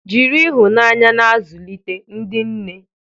Jiri ịhụnanya na-azụlite, ndị nne.